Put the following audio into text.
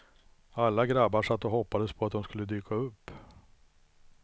Alla grabbar satt och hoppades på att hon skulle dyka upp.